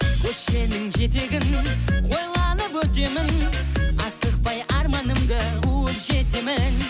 көшенің жетегін ойланып өтемін асықпай арманымды қуып жетемін